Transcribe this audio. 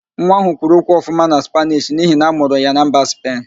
Nwa ahụ kwuru okwu ọfụma na Spaanish n'ihi na-amụrụ ya na mba Spen